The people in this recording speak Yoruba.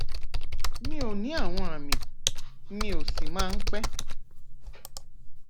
mi ò ní àwọn àmì míì ó sì máa ń pẹ